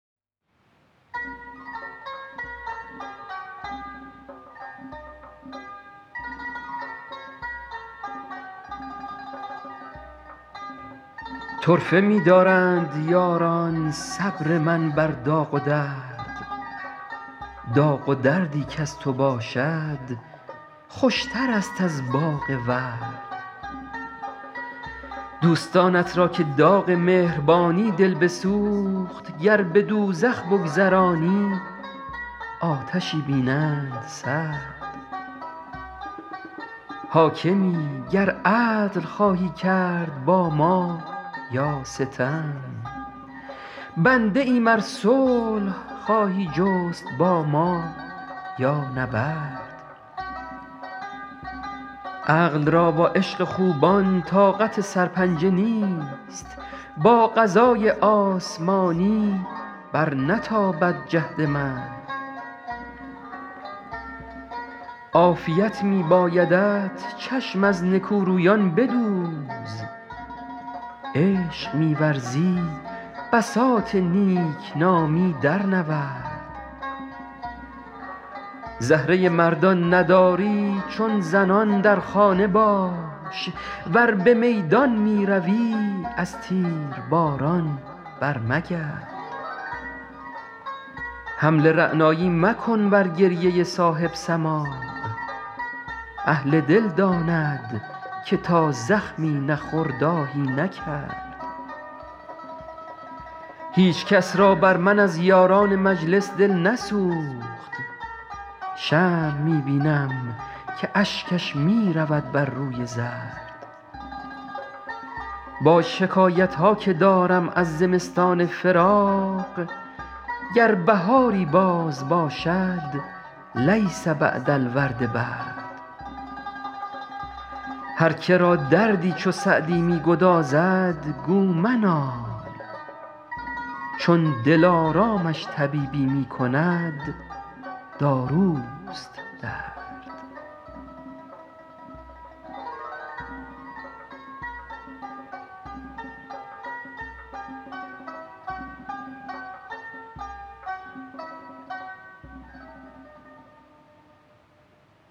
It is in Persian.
طرفه می دارند یاران صبر من بر داغ و درد داغ و دردی کز تو باشد خوشترست از باغ ورد دوستانت را که داغ مهربانی دل بسوخت گر به دوزخ بگذرانی آتشی بینند سرد حاکمی گر عدل خواهی کرد با ما یا ستم بنده ایم ار صلح خواهی جست با ما یا نبرد عقل را با عشق خوبان طاقت سرپنجه نیست با قضای آسمانی برنتابد جهد مرد عافیت می بایدت چشم از نکورویان بدوز عشق می ورزی بساط نیک نامی درنورد زهره مردان نداری چون زنان در خانه باش ور به میدان می روی از تیرباران برمگرد حمل رعنایی مکن بر گریه صاحب سماع اهل دل داند که تا زخمی نخورد آهی نکرد هیچ کس را بر من از یاران مجلس دل نسوخت شمع می بینم که اشکش می رود بر روی زرد با شکایت ها که دارم از زمستان فراق گر بهاری باز باشد لیس بعد الورد برد هر که را دردی چو سعدی می گدازد گو منال چون دلارامش طبیبی می کند داروست درد